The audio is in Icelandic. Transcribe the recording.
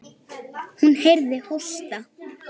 Hún heyrði hósta.